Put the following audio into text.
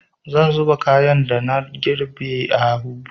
Zan zuba kayan da na girbe a buhu.